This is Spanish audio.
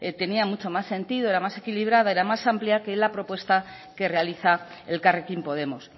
tenía mucho más sentido era más equilibrada era más amplia que la propuesta que realiza elkarrekin podemos